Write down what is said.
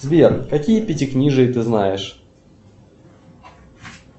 сбер какие пятикнижия ты знаешь